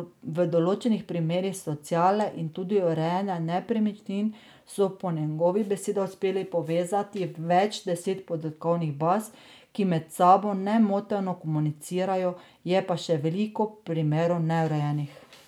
V določenih primerih sociale in tudi urejanja nepremičnin so po njegovih besedah uspeli povezati več deset podatkovnih baz, ki med sabo nemoteno komunicirajo, je pa še veliko primerov neurejenih.